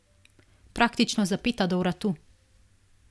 Praktično zapeta do vratu.